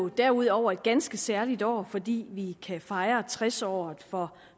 derudover et ganske særligt år fordi vi kan fejre tres året for